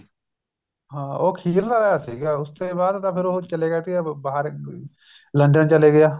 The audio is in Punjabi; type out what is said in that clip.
ਹਾਂ ਉਹ ਅਖੀਰਲਾ ਸੀਗਾ ਉਸ ਤੇ ਬਾਅਦ ਤਾਂ ਫ਼ਿਰ ਉਹ ਚਲੇ ਗਿਆ ਸੀ ਬਾਹਰ London ਚਲਾ ਗਿਆ